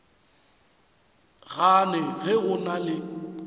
gane ge o na le